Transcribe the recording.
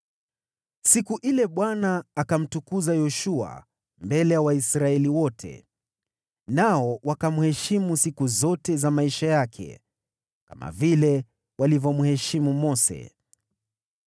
Siku ile Bwana akamtukuza Yoshua mbele ya Israeli yote, nao wakamheshimu siku zote za maisha yake, kama vile walivyomheshimu Mose.